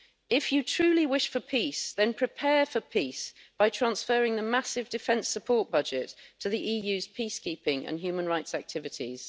If you truly wish for peace, then prepare for peace by transferring the massive defence support budget to the EU's peacekeeping and human rights activities.